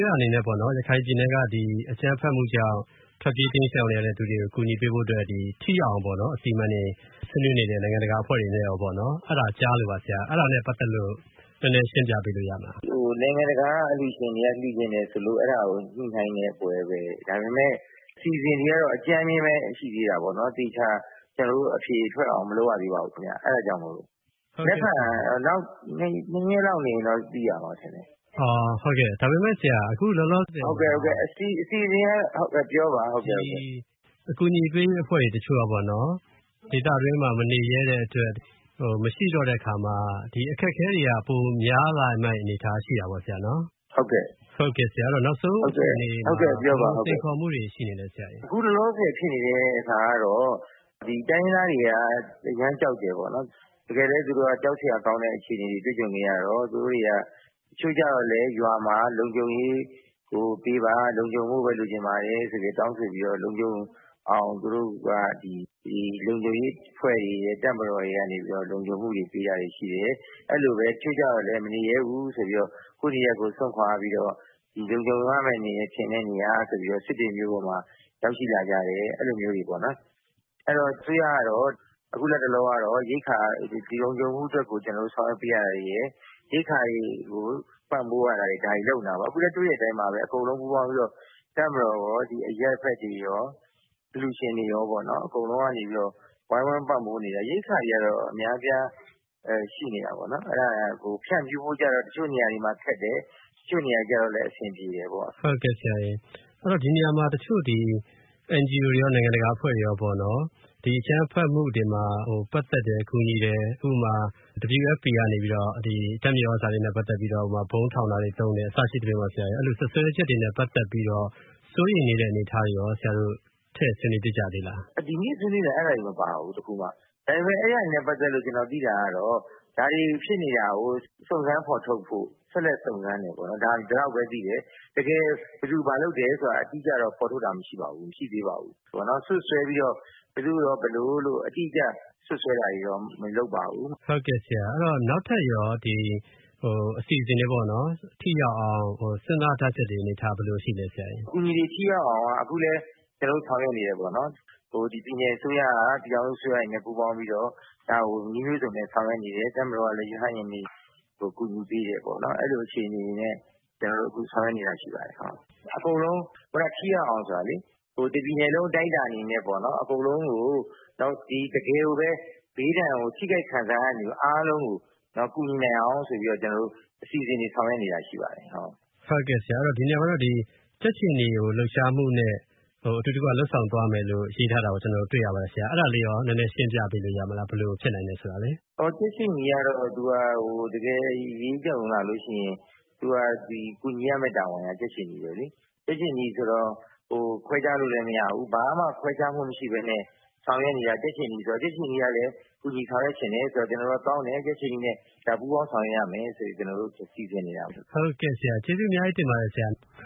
ရအနေနဲ့ပေါ့နော် ရခိုင်ပြည်နယ်ကအကြမ်းဖက်မှုကြောင့် ထွက်ပြေးတိမ်းရှောင်နေသူတွေကို ကူညီဖို့အတွက် ထိရောက်အောင်အစီအမံတွေကို နိုင်ငံတကာအဖွဲ့တွေနဲ့ ဆွေးနွေးနေတယ်ဆိုတာ ကြားလို့ပါ ၊အဲဒါ ရှင်းပြပေးလို့ရမလား။ နိုင်ငံတကာကအလှူရှင်တွေက လှူချင်တယ်ဆိုလို့ အဲဒါကိုလှူနိုင်တယ် ဒါပေမယ့် အစီအစဉ်တွေကတော့ အကြမ်းပဲရှိသေးတာပေါ့နော် ၊ အဖြေထွက်အောင်မလုပ်ရသေးပါဘူးခင်ဗျ။ နောက် ၂ ရက်လောက်နေရင်တော့ သိရမယ်ထင်တယ်။ အခုလောလောဆယ်အကူအညီပေးရေးအဖွဲ့တချို့က ဒေသအတွင်းမှာမနေရဲတဲ့အတွက် ဒီအခက်အခဲတွေက ပိုများလာမယ့်အနေအထားရှိတာပေါ့နော် ဆရာ။ ဟုတ်ကဲ့ နောက်ဆုံးအခြေအနေမှာ ဘယ်လိုစိန်ခေါ်မှုတွေရှိနေသလဲဆရာ အခုလောလောဆည်ကတော့ တိုင်းရင်းသားတွေက အရမ်းကြောက်တယ်ပေါ့နော် ၊ တကယ်လည်းသူတို့က ကြောက်စရာကောင်းတဲ့အခြေအနေတွေ တွေ့ကြုံခဲ့ရတော့ တချို့ကျတော့လည်းရွာမှာ လုံခြုံရေးကိုပေးပါ၊ လုံခြုံဖို့ပဲလိုချင်ပါတယ်ဆိုပြီးတောင်းဆိုတော့ လုံခြံရေးအဖွဲ့တွေရယ် ၊ တပ်မတော်တွေကနေပြီးတော့ လုံခြုံမှုပေးတာတွေရှိတယ်။ အဲလိုပဲ တချို့တော့လည်း မနေရဲဘူးဆိုပြီးတော့ ကိုယ့်နေရပ်ကိုစွန့်ခွာပြီးတော့ လုံခြုံမယ့်နေရာ စစ်တွေမြို့တွေပေါ်ကိုရောက်ရှိလာကြတယ်။ အဲလိုမျိုးတွေပေါ့နော်။ ဆိုတော့ အစိုးရကတော့ အခုလက်တလောကတော့ ရိက္ခာလုံခြုံဖို့အတွက်ကိုဆောင်ရွက် ပေးတာတွေ၊ ရိက္ခာတွေကို ပံ့ပိုးတာတွေလုပ်နေတာပေါ့ အခုလည်းတွေ့တဲ့အတိုင်းပါပဲ အကုန်လုံးပူးပေါင်းပြီးတော့ တပ်မတော်ရော၊ အရပ်ဘက်တွေရော အလှူရှင်တွေရောပေါ့နော် အကုန်လုံးက ဝိုင်းဝန်းပံ့ပိုးနေတယ်။ ရိက္ခာ တွေတော့အများအပြားရှိနေတာပေါ့နော် အဲဒါတွေကို ဖြန့်ဖို့တော့ တချို့နေရာတွေမှာ ခက်တယ်။ တချို့နေရာတွေမှာတော့အဆင်ပြေတယ်ပေါ့။ ဟုတ်ကဲ့ ဒီနေရာမှာ တချို့ NGO တွေရော နိုင်ငံတကာအဖွဲ့တွေရော ဒီအကြမ်းဖက်မှုတွေမှာ ပတ်သက်တယ် ကူညီတယ် ဥပမာ WFP ကနေပြီးတော့ ဓါတ်မြေသြဇာနဲ့ ပတ်သက်ပြီးတော့ ဗုံးထောင်တာတွေမှာသုံးတယ် အစရှိသဖြင့် အဲလိုစွပ်စွဲချက်တွေနဲ့ ပတ်သက်ပြီးတော့ စိုးရိမ်နေတဲ့အနေအထားတွေရော ထည့်ဆွေးနွေးဖြစ်ကြသေးသလား။ ဒီကနေ့ဆွေးနွေးတဲ့အထဲမှာ ဒီဟာတွေလည်းမပါဘူး။ ဒါပေမယ့် အဲဒါတွေနဲ့ ပတ်သက်လို့ ကျနေ်ာသိတာကတော့ ဒါတွေဖြစ်နေတာကို စုံစမ်းဖော်ထုတ်ဖို့ ဆက်လိုက်စုံစမ်းနေတယ်ပေါ့နော် ဒီလောက်ပဲသိတယ်။ ဘယ်သူဘာလုပ်တယ်ဆိုတာကတော့ အတိအကျတော့ ဖော်ထုတ်တာမရှိပါဘူး။ စွပ်စွဲပြီးတော့ ဘယ်သူ့ကိုတော့ ဘယ်လိုအတိအကျ စွပ်စွဲတာတွေတော့မလုပ်ပါဘူး။ ဟုတ်ကဲ့ နောက်ထပ်ရောအစီအစဉ်တွေ ထိရောက်အောင် စဉ်းစားထားတာတွေဘယ်လိုရှိပါသလဲ။ အကူအညီတွေ ထိရောက်အောင်ကျနော်တို့လည်း ဆောင်ရွက်နေတယ်ပေါ့နော်။ ပြည်နယ်အစိုးရ၊ ပြည်ထောင်စုအစိုးရတွေနဲ့ ပူးပေါင်းပြီးတော့ ဒါကိုနည်းမျိုးစုံနဲ့ ဆောင်ရွက်နေတယ် တပ်မတော်ကလည်းရဟတ်ယာဉ်တွေနဲ့ ကူညီပေးတယ်ပေါ့နော် အဲလိုမျိုး အခြေနေတွေနဲ့ဆောင်ရွက်နေတာရှိပါတယ်။ အကုန်လုံးထိရောက်အောင်ဆိုတာကလေ တပြည်နယ်လုံးအတိုင်းအတာနဲ့ အကုန်လုံးကို တကယ်ကိုဘေးဒဏ်ကိုထိခိုက်ခံစားရတဲ့လူတွေ အားလုံးကို ကူညီနိုင်အောင်ဆိုပြီးတော့ အစီအစဉ်တွေဆောင်ရွက်နေတာရှိပါတယ်။ ဟုတ်ကဲ့ ဒီနေရာမှာတော့ ကြက်ခြေနီလှုပ်ရှားမှုနဲ့ အတူတကွလုပ်ဆောင်သွားမယ်လို့ ရေးထားတာကို ကျနော်တို့ တွေ့ရပါတယ်။ အဲဒါလေးကိုရောနည်းနည်းရှင်းပြပေးလို့ရမလား ဘယ်လိုဖြစ်နိုင်တယ်ဆိုတာလေ။ ကြက်ခြေနီကတော့ တကယ်အရေးကြုံလာလို့ရှိရင် ကူညီရမယ့်တာဝန်က ကြက်ခြေနီပဲလေ။ ကြက်ခြေနီဆိုတော့ ခွဲခြားလို့လည်းမရဘူးလေ။ ဘာမှခွဲခြားမှုမရှိပဲနဲ့ ဆောင်ရွက်နေတာဆိုတော့ ကြက်ခြေနီကလည်းဆောင်ရွက်ချင်တယ်ဆိုတော့ ကျနော်တို့လည်းကြက်ခြေနီနဲ့ ပူးပေါင်းဆောင်ရွက်ဖို့စီစဉ်နေတာပါ။ ကျေးဇူးအများကြီးတင်ပါတယ်ဆရာ။